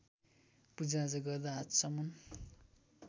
पूजाआजा गर्दा आचमन